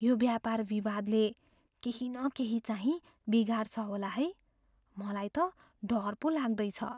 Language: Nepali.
यो व्यापार विवादले केही न केही चाहिँ बिगार्छ होला है। मलाई त डर पो लाग्दैछ।